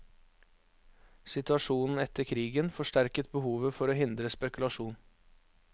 Situasjonen etter krigen forsterket behovet for å hindre spekulasjon.